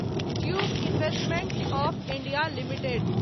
tube investments of India limited